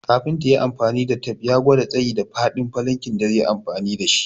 Kafinta yayi amfani da tep ya gwada tsayi da faɗin falankin da zai yi aiki dashi